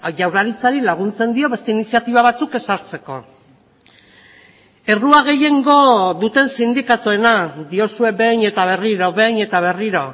jaurlaritzari laguntzen dio beste iniziatiba batzuk ezartzeko errua gehiengo duten sindikatuena diozue behin eta berriro behin eta berriro